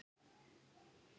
Takk fyrir tímann.